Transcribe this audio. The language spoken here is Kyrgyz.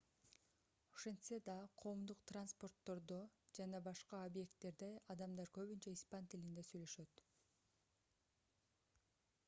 ошентсе да коомдук транспорттодо жана башка объекттерде адамдар көбүнчө испан тилинде сүйлөшөт